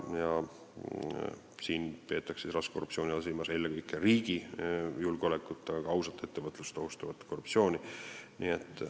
Raske korruptsiooni all peetakse silmas eelkõige riigi julgeolekut ja ka ausat ettevõtlust ohustavat korruptsiooni.